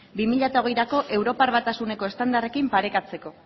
bi mila hogeirako europar batasuneko estandarrekin parekatzeko